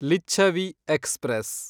Lichchavi express